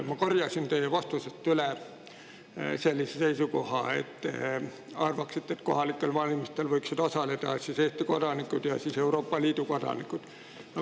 Ma korjasin teie vastusest üles sellise seisukoha, et te arvate, et kohalikel valimistel võiksid osaleda Eesti kodanikud ja Euroopa Liidu kodanikud.